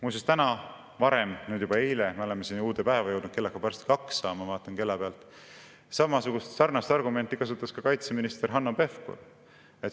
Muuseas, täna – nüüd juba eile, me oleme siin uude päeva jõudnud, kell saab varsti kaks, ma vaatan kella pealt – kasutas sarnast argumenti ka kaitseminister Hanno Pevkur.